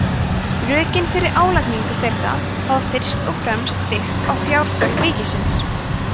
rökin fyrir álagningu þeirra hafa fyrst og fremst byggt á fjárþörf ríkisins